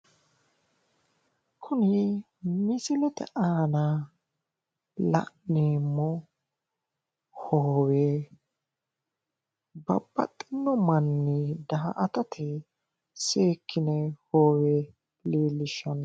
kuni misilete aana la'neemmo hoowe babbaxinno manni daa''atate seekkino hoowe leellishshanno.